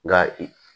Nka i